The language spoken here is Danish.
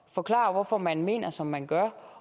forklarer hvorfor man mener som man gør